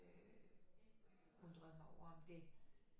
Øh undret mig over om det